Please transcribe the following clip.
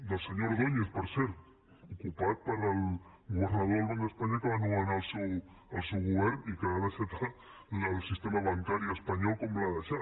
del senyor ordóñez per cert ocupat pel governador del banc d’espanya que va nomenar el seu govern i que ha deixat el sistema bancari espanyol com l’ha deixat